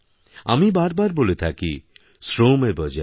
আমি বারবার বলে থাকি শ্রমেব জয়তে